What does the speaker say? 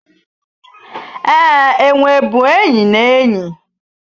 Ee, enwe bụ enyi na enyi